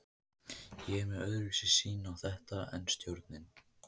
Ég er með öðruvísi sýn á þetta en stjórnin.